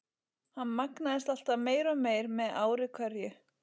Hann magnaðist alltaf meir og meir með ári hverju.